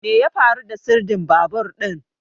Me ya faru da sirdin babur din?